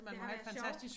Det har været sjovt